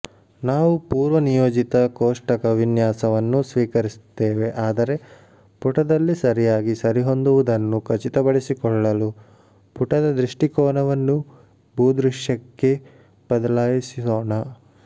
ನಾವು ಪೂರ್ವನಿಯೋಜಿತ ಕೋಷ್ಟಕ ವಿನ್ಯಾಸವನ್ನು ಸ್ವೀಕರಿಸುತ್ತೇವೆ ಆದರೆ ಪುಟದಲ್ಲಿ ಸರಿಯಾಗಿ ಸರಿಹೊಂದುವುದನ್ನು ಖಚಿತಪಡಿಸಿಕೊಳ್ಳಲು ಪುಟದ ದೃಷ್ಟಿಕೋನವನ್ನು ಭೂದೃಶ್ಯಕ್ಕೆ ಬದಲಾಯಿಸೋಣ